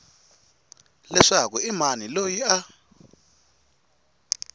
leswaku i mani loyi a